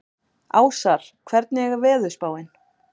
Ásar, hvernig er veðurspáin?